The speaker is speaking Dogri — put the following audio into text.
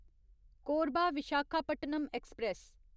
कोरबा विशाखापट्टनम ऐक्सप्रैस